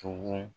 Tugun